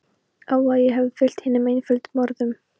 Ó að ég hefði fylgt hinum einföldu orðum